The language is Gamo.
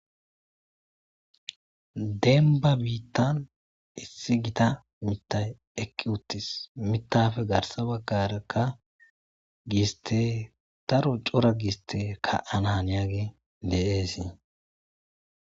Denba bithan issi githa mithayi eqiwutis mithappe garsa bagaraka giste daro cora giste ka,ana haniyage dee's